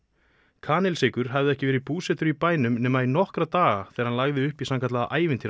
kanilsykur hafði ekki verið búsettur í bænum nema í nokkra daga þegar hann lagði upp í sannkallaða